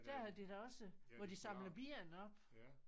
Der har de da også hvor de samler ben op